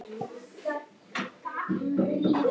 Oft eru þessi hreiður gerð úr og fest með leðju eða munnvatni.